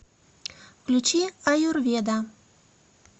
включи аюрведа